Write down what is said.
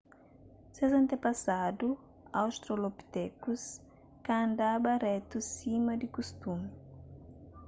ses antepasadu australopitekus ka andaba retu sima di kustumi